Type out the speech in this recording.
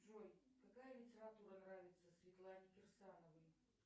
джой какая литература нравится светлане кирсановой